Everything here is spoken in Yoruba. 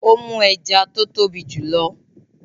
Ó mú ẹja tó tóbi jù lọ.